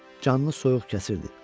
Canını soyuq kəsirdi.